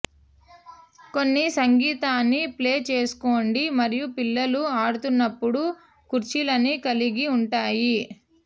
కొన్ని సంగీతాన్ని ప్లే చేసుకోండి మరియు పిల్లలు ఆడుతున్నప్పుడు కుర్చీలని కలిగి ఉంటాయి